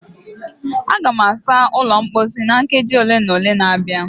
Aga m asa ụlọ mposi na nkeji ole na ole na-abịa